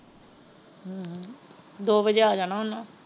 ਦੋ ਵੱਜੇ ਆ ਜਾਣਾ ਉਹਨੇ।